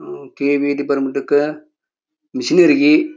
ಹ್ಮ್ಮ್ KEB. Department ದಕ್ಕ ಮಿಷನರಿಗೆ --